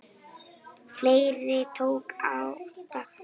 Ferlið tók átta ár.